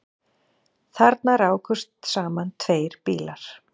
Þarna rákust saman tveir bílar